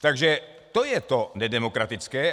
Takže to je to nedemokratické.